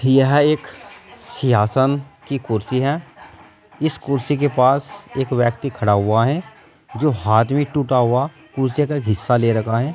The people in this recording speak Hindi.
यह एक सिंहासन की कुर्सी है इस कुर्सी के पास एक व्यक्ति खड़ा हुआ है जो हाथ में टूटा हुआ कुर्सी का हिस्सा ले रखा है।